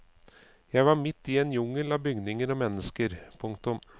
Jeg var midt i en jungel av bygninger og mennesker. punktum